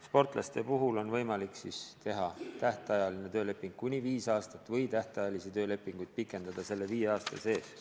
Sportlaste puhul on võimalik teha tähtajaline tööleping kuni viis aastat või tähtajalisi töölepinguid pikendada selle viie aasta sees.